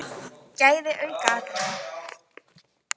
Gæði aukaatriði?